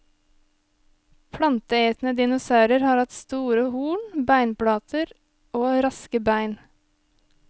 Planteetende dinosaurer har hatt store horn, beinplater og raske bein.